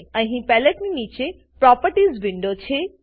અહીં પેલેટની નીચે પ્રોપર્ટીઝ વિન્ડો છે